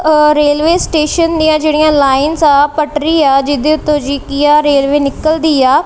Railway station ਦਿਆਂ ਜੇਹੜੀਆਂ lines ਆ ਪਟਰੀ ਆ ਜਿਹੜੇ ਉੱਤੋਂ ਜੀ ਕੀ ਆਹ ਰੇਲਵੇ ਨਿੱਕਲ਼ਦੀ ਆ।